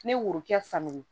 Ne ye worokɛ sanni